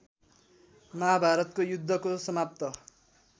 महाभारतको युद्धको समाप्त